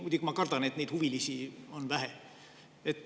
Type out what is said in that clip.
Muidugi ma kardan, et neid huvilisi on vähe.